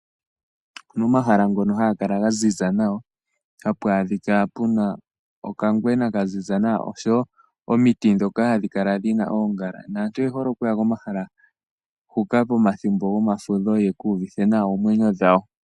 Momahala ngono haga kala gaziza nawa, hapu adhika puna okangwena kaziza nawa oshowo omiti ndhoka hadhi kala dhina oongala. Naantu oyehole okuya komahala huka pomathimbo gomafudho yeku uvithe nawa oomwenyo dhawo.